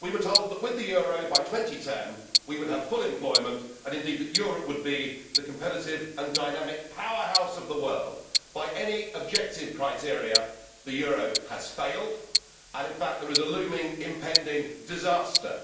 We were told that with the euro, by 2010, we would have full employment and, indeed, that Europe would be the competitive and dynamic powerhouse of the world. By any objective criteria, the euro has failed and, in fact, there is a looming impending disaster.